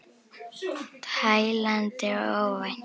Tælandi og óvænt.